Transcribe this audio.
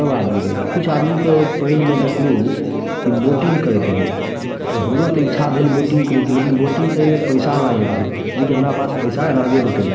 सब आदमी रहे कुछ आदमी के पैन में देखलु की बोटिंग करेत रहे हमरो त इच्छा भइल बोटिंग करेके लेकिन बोटिंग करे के पैसा लागत रहे जेकी हमरा पास पैसा रहबे नाय कलय।